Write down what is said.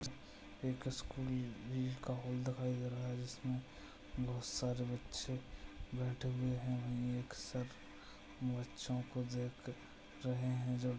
एक स्कूल जिसका हाल दिखाई दे रहा है जिसमें बहुत सारे बच्चे बैठे हुए हैं हमें एक सर बच्चों को देख रहे हैजो--